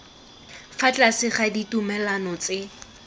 fa tlase ga ditumalano tse